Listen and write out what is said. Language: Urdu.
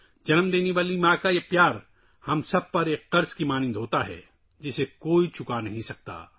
ہماری پیدائشی ماں کی یہ محبت ہم سب پر ایک قرض کی طرح ہے جسے کوئی نہیں چکا سکتا